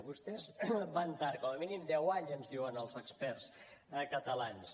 vostès van tard com a mínim deu anys ens diuen els experts catalans